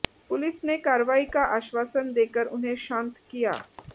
police ने कार्रवाई का आश्वासन देकर उन्हें शांत किया